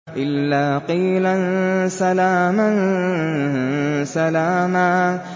إِلَّا قِيلًا سَلَامًا سَلَامًا